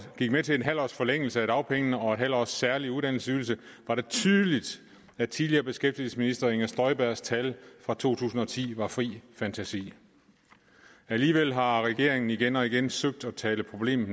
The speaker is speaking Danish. gik med til en halv års forlængelse af dagpengene og en halv års særlig uddannelsesydelse var det tydeligt at tidligere beskæftigelsesminister fru inger støjbergs tal fra to tusind og ti var fri fantasi alligevel har regeringen igen og igen søgt at tale problemet